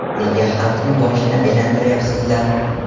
Nega xalqni boshini aylantiryapsizlar?